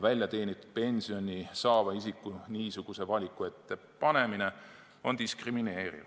Väljateenitud pensioni saava isiku niisuguse valiku ette panemine on diskrimineeriv.